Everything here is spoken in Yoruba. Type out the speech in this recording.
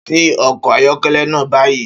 Ṣí ọkọ̀ ayọ́kẹ́lẹ́ náà báyìí!